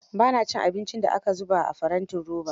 Ba na cin abin da aka zubo a farantin roba.